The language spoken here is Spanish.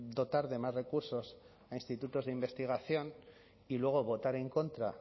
dotar de más recursos a institutos de investigación y luego votar en contra